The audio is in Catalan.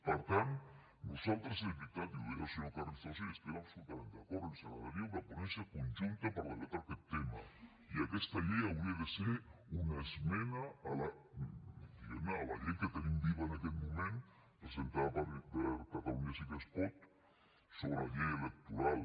per tant a nosaltres de veritat i ho deia el senyor carrizosa i hi estem absolutament d’acord ens agradaria una ponència conjunta per debatre aquest tema i aquesta llei hauria de ser una esmena diguem ne a la llei que tenim viva en aquest moment presentada per catalunya sí que es pot sobre la llei electoral